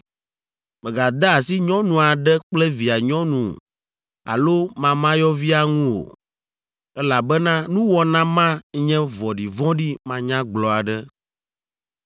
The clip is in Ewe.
“ ‘Mègade asi nyɔnu aɖe kple via nyɔnu alo mamayɔvia ŋu o, elabena nuwɔna ma nye vɔ̃ɖivɔ̃ɖi manyagblɔ aɖe.